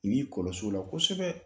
I b'i kɔlɔsi o la kosɛbɛ.